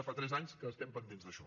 ja fa tres anys que estem pendents d’això